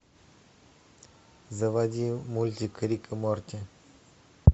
заводи мультик рик и морти